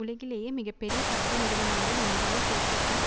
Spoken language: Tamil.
உலகிலேயே மிக பெரிய சட்ட நிறுவனங்களில் ஒன்றான பேக்கர் அன்ட்